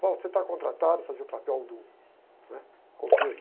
você está contratado a fazer o papel do, né? Coveiro.